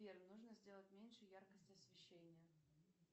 сбер нужно сделать меньше яркость освещения